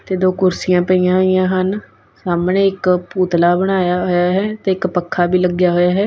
ਤੇ ਦੋ ਕੁਰਸੀਆਂ ਪਈਆਂ ਹੋਈਆਂ ਹਨ ਸਾਹਮਣੇ ਇੱਕ ਪੂਤਲਾ ਬਣਾਇਆ ਹੋਇਆ ਹੈ ਤੇ ਇੱਕ ਪੱਖਾ ਵੀ ਲੱਗਿਆ ਹੋਇਆ ਹੈ।